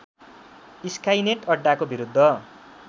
Skynet अड्डाको विरुद्ध